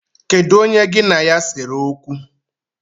Kedụ onye gị na ya sere okwu?